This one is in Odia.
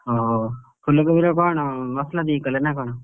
ଅହୋ ଫୁଲକୋବିରେ କଣ ମସଲା ଦେଇ କଲେ ନା କଣ?